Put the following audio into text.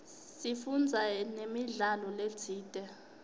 sifundze namidlalo letsite